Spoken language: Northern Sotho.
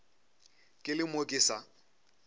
ke le mo ke sa